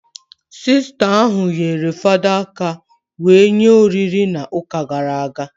Sista ahụ nyere fada aka wee nye oriri na ụka gara aga